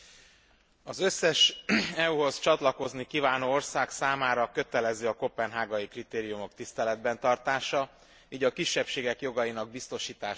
Az összes EU hoz csatlakozni kívánó ország számára kötelező a koppenhágai kritériumok tiszteletben tartása, így a kisebbségek jogainak biztosítása is.